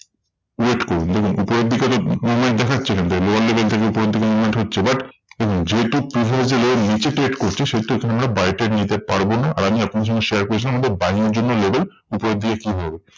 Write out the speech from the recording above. Wait করুন দেখুন উপরের দিকে movement দেখাচ্ছে এখানটায় lower level থেকে উপরের দিকে movement হচ্ছে। but দেখুন যেহেতু previous low র নিচে trade করছে সেহেতু এখানে আমরা buy trade নিতে পারবো না। আর আমি আপনাদের সঙ্গে share করেছিলাম আমাদের buying এর জন্য level উপরের দিকে কি হবে?